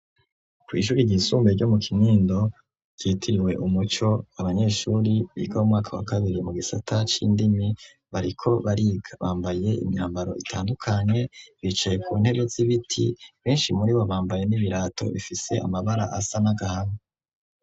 kw'ishuri ryisumbuye ryo mu kinkindo ryitiriwe Umuco ,abanyeshure biga mu mwaka wa kabiri mu gisata c'indimi ,bariko bariga bambaye imyambaro itandukanye bicaye ku ntebe z'ibiti, benshi muri bo bambaye n'ibirato bifise amabara asa n'agahama.